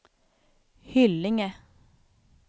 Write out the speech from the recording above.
Hyllinge